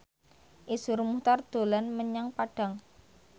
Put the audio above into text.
Iszur Muchtar dolan menyang Padang